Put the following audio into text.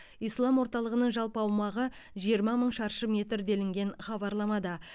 ислам орталығының жалпы аумағы жиырма мың шаршы метр делінген хабарламада